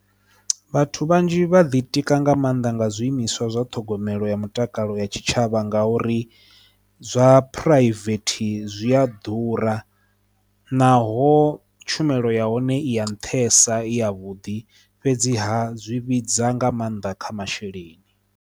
Vhathu vhanzhi vhaḓi tika nga maanḓa nga zwiimiswa zwa ṱhogomelo ya mutakalo ya tshitshavha nga uri zwa phuraivethe zwi a ḓura naho tshumelo ya hone i ya nṱhesa i ya vhuḓi fhedzi ha zwivhidza nga maanḓa kha masheleni.